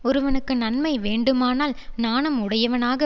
ஒருவனுக்கு நன்மை வேண்டுமானால் நாணம் உடையவனாக